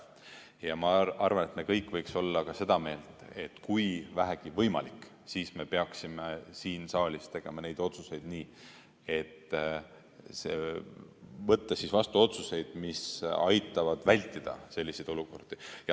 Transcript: Ja ma arvan, et me kõik võiks olla seda meelt, et kui vähegi võimalik, siis me peaksime siin saalis võtma vastu otsuseid, mis aitavad vältida selliseid olukordi.